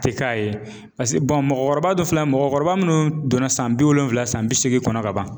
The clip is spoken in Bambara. A tɛ k'a ye mɔgɔkɔrɔba dɔ filɛ mɔgɔkɔrɔba minnu donna san bi wolonwula san bi seegin kɔnɔ ka ban